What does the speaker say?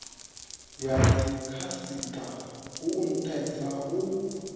ya dzikhasitama hu nthesa u